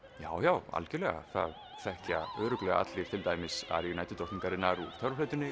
já já algjörlega það þekkja örugglega allir til dæmis aríu